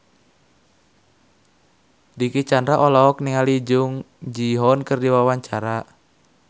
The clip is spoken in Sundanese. Dicky Chandra olohok ningali Jung Ji Hoon keur diwawancara